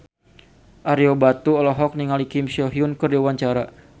Ario Batu olohok ningali Kim So Hyun keur diwawancara